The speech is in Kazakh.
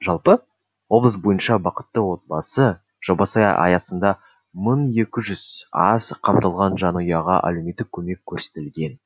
жалпы облыс бойынша бақытты отбасы жобасы аясында мың екі жүз аз қамтылған жанұяға әлеуметтік көмек көрсетілген